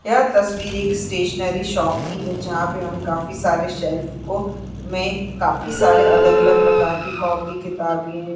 यह तस्वीर एक स्टेशनरी शॉप की है जहां पे हम काफी सारे शेल्फ को में काफी सारे अलग-अलग प्रकार की कॉपी किताबे --